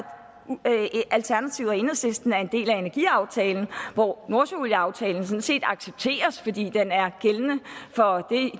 alternativet og enhedslisten er en del af energiaftalen hvor nordsøolieaftalen sådan set accepteres fordi den er gældende for